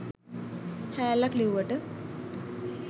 හෑල්ලක් ලිව්වට